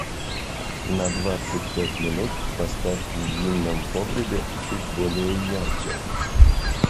на двадцать пять минут поставь в винном погребе чуть более ярче